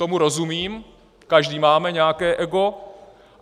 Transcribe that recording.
Tomu rozumím, každý máme nějaké ego.